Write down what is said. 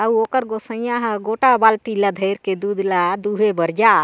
औ ओकर गोसइया ह गोटा बाल्टी ल धर के दूध ल दुहे बर जाए--